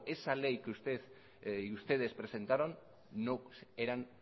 esa ley que ustedes presentaron no eran